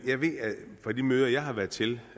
jeg ved fra de møder jeg har været til